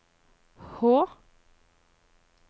Hå